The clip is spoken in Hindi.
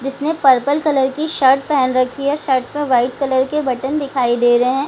जिसने पर्पल कलर की शर्ट पहन रखी है शर्ट में व्हाइट कलर के बटन दिखाइ दे रहे हैं ।